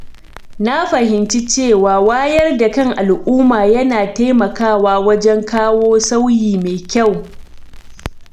Na fahimci cewa wayar da kan al’umma yana taimakawa wajen kawo sauyi mai kyau.